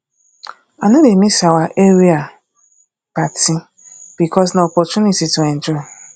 i no dey miss our area party because na opportunity to enjoy